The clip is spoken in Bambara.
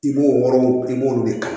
I b'o wɔrɔ i b'o de kɛ